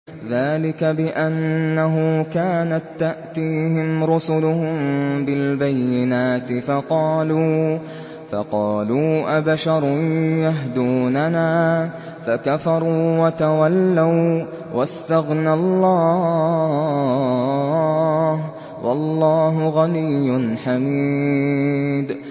ذَٰلِكَ بِأَنَّهُ كَانَت تَّأْتِيهِمْ رُسُلُهُم بِالْبَيِّنَاتِ فَقَالُوا أَبَشَرٌ يَهْدُونَنَا فَكَفَرُوا وَتَوَلَّوا ۚ وَّاسْتَغْنَى اللَّهُ ۚ وَاللَّهُ غَنِيٌّ حَمِيدٌ